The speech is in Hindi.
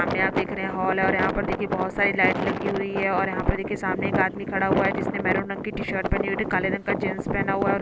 सामने आप देख रहे हे हॉल है और यहाँ पर देखे बहोत सारी लाइट लगी हुए है और यहाँ पर एक सामने एक आदमी खड़ा हुए है जिसने मैरून रंग की टीशर्ट पहने हुए है काले रंग का जीन्स पेहना हुए है और